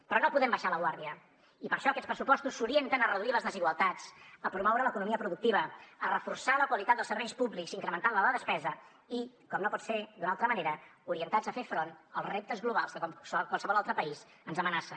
però no podem abaixar la guàrdia i per això aquests pressupostos s’orienten a reduir les desigualtats a promoure l’economia productiva a reforçar la qualitat dels serveis públics incrementant ne la despesa i com no pot ser d’una altra manera orientats a fer front als reptes globals que com a qualsevol altre país ens amenacen